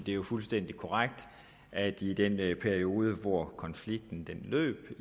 jo fuldstændig korrekt at i den periode hvor konflikten løb